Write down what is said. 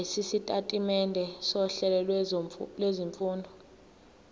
lwesitatimende sohlelo lwezifundo